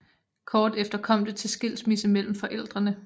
Kort efter kom det til skilsmisse mellem forældrene